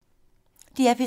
DR P3